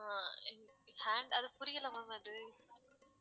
அஹ் hand அது புரியலை ma'am அது